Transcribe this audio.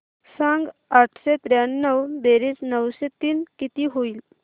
सांग आठशे त्र्याण्णव बेरीज नऊशे तीन किती होईल